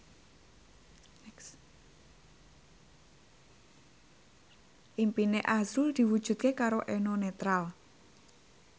impine azrul diwujudke karo Eno Netral